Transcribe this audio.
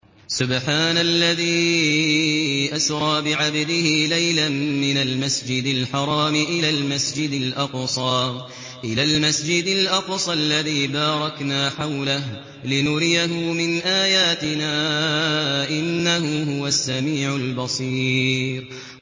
سُبْحَانَ الَّذِي أَسْرَىٰ بِعَبْدِهِ لَيْلًا مِّنَ الْمَسْجِدِ الْحَرَامِ إِلَى الْمَسْجِدِ الْأَقْصَى الَّذِي بَارَكْنَا حَوْلَهُ لِنُرِيَهُ مِنْ آيَاتِنَا ۚ إِنَّهُ هُوَ السَّمِيعُ الْبَصِيرُ